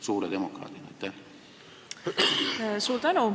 Suur tänu!